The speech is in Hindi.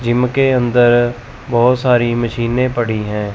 जिम के अंदर बहोत सारी मशीने पड़ी हैं।